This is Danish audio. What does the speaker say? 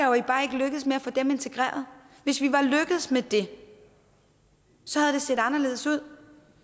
nej få integreret hvis vi var lykkedes med det havde det set anderledes ud